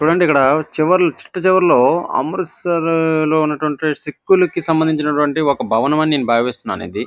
చూడండి ఇక్కడ చివర్లో చిట్టచివర్లో అమృత్సర్ లో ఉన్నటువంటి సిఖ్లకు సంబందించినటువంటి ఒక భవనం అని నేను భావిస్తున్నాను ఇది.